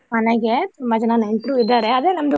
ಮನೆಗೆ ತುಂಬಾ ಜನ ನೆಂಟ್ರು ಇದಾರೆ ಅದೇ ನಮ್ದು.